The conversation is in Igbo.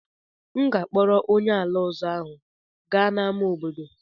M ga-akpọrọ onye ala ọzọ ahụ gaa n'ámá obodo.